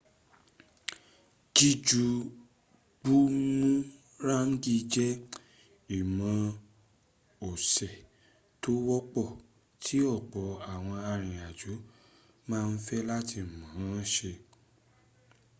jíju bumuráǹgì jẹ́ ìmọ̀ọ́se tó wọ́pọ̀ tí ọ̀pọ̀ àwọn arìnrìnàjò ma ń fẹ́ láti mọ̀ọ́ se